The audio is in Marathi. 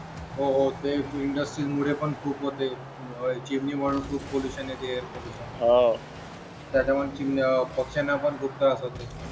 हो हो ते इंडस्ट्रीमुळे पण खूप होते चिमणी मधून खूप पोल्युशन येते एयर पोल्युशन त्याच्यामुळे चिमण्या पक्ष्यांना पण खूप त्रास होते